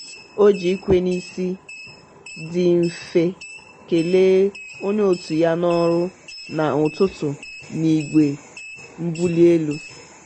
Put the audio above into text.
o ji ikwe n'isi dị mfe kelee onye otu ya n'ọrụ na "ụtụtụ" n'igwe mbuli elu.